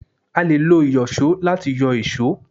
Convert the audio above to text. a lè lo Ìyọ̀ṣó lati yọ èṣó.